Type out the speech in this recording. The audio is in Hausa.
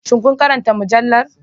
Shin kun karanta mujallar